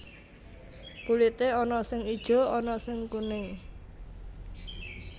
Kulité ana sing ijo ana sing kuning